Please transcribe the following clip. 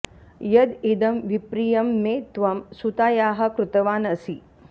यद् इदं विप्रियं मे त्वं सुतायाः कृतवान् असि